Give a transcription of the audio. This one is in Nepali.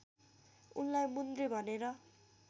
उनलाई मुन्द्रे भनेर